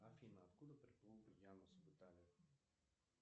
афина откуда приплыл янус в италию